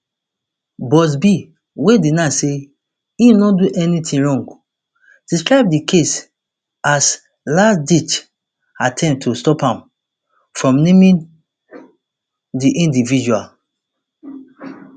buzbee wey deny say im no do anytin wrong describe di case as lastditch attempt to stop am from um naming di individual